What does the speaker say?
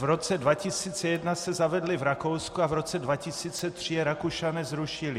V roce 2001 se zavedly v Rakousku a v roce 2003 je Rakušané zrušili.